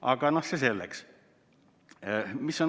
Aga see selleks.